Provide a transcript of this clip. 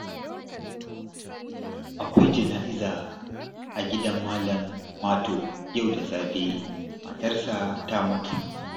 Akwai jana'iza a gidan Malam Mato yau da safe, matarsa ta mutu